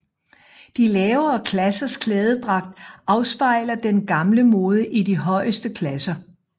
De lavere klassers klædedragt afspejler den gamle mode i de højeste klasser